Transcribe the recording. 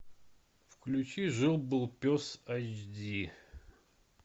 включи жил был пес айч ди